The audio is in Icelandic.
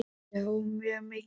Já, mjög mikið.